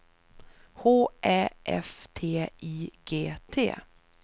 H Ä F T I G T